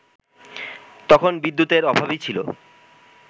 তখন বিদ্যুতের অভাবই ছিল